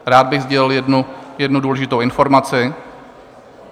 Rád bych sdělil jednu důležitou informaci.